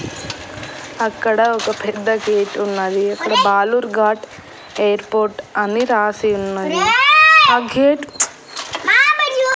అక్కడ ఒక పెద్ద గేట్ ఉన్నది అక్కడ బాలూర్ ఘాట్ ఎయిర్పోర్ట్ అని రాసి ఉన్నది ఆ గేట్ .